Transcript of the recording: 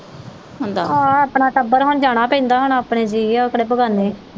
ਹੁੰਦਾ। ਆਹ ਆਪਣਾ ਟੱਬਰ ਹੁਣ ਜਾਣਾ ਪੈਂਦਾ ਹੁਣ ਆਪਣੇ ਜੀਅ ਉਹ ਕਿਹੜੇ ਬੇਗ਼ਾਨੇ।